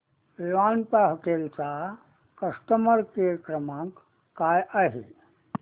Vivanta hotel चा customer care क्रमांक काय आहे